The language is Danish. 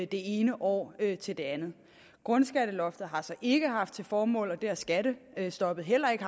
det ene år til det andet grundskatteloftet har så ikke haft til formål og det har skattestoppet heller ikke